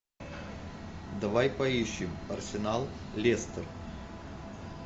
давай поищем арсенал лестер